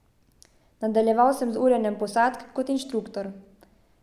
Nadaljeval sem z urjenjem posadk kot inštruktor.